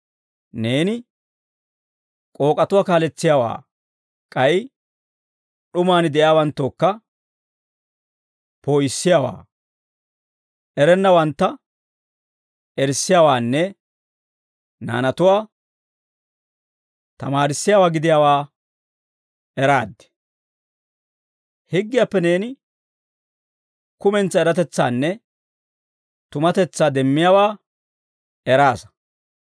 Neeni k'ook'atuwaa kaaletsiyaawaa, k'ay d'umaan de'iyaawanttookka poo'issiyaawaa, erennawantta erissiyaawaanne naanatuwaa tamaarissiyaawaa gidiyaawaa eraad; higgiyaappe neeni kumentsaa eratetsaanne tumatetsaa demmiyaawaa eraasa.